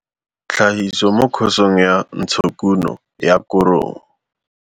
Tlhagiso mo Khosong ya Ntshokuno ya Korong.